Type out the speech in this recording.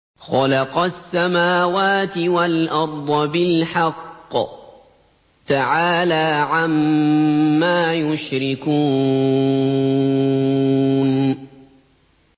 خَلَقَ السَّمَاوَاتِ وَالْأَرْضَ بِالْحَقِّ ۚ تَعَالَىٰ عَمَّا يُشْرِكُونَ